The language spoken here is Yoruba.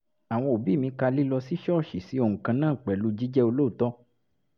àwọn òbí mi ka lílọ sí ṣọ́ọ̀ṣì sí ohun kan náà pẹ̀lú jíjẹ́ olóòótọ́